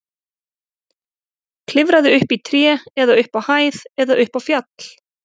Klifraðu upp í tré eða upp á hæð eða upp á fjall.